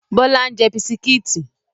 Bọlá ń jẹ́ bisikítì